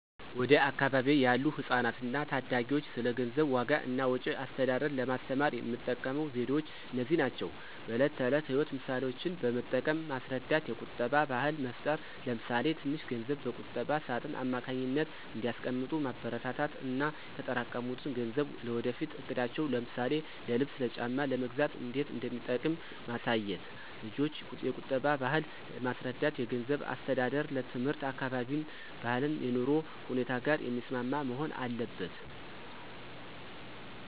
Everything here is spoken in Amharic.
ወደ አካባቢዬ ያሉ ህጻናትና ታዳጊዎች ስለ ገንዘብ ዋጋ እና ወጪ አስተዳደር ለማስተማር የምጠቀመው ዘዴዎች እነዚህ ናቸው፦ በዕለት ተዕለት ሕይወት ምሳሌዎችን በመጠቀም ማስረዳት የቁጠባ ባህል መፍጠር ለምሳሌ ትንሽ ገንዘብ በቁጠባ ሳጥን አማካኝነት እንዲያስቀምጡ ማበረታታት እና የተጠራቀሙት ገንዘብ ለወደፊት እቅዳቸው ለምሳሌ ልብስ ጫማ ለመግዛት እንዴት እንደሚጠቅም ማሳየት። ልጆችን የቁጠባን ባህል ለማስረዳት የገንዘብ አስተዳደር ትምህርት ከአካባቢያችን ባህልና የኑሮ ሁኔታ ጋር የሚስማማ መሆን አለበት።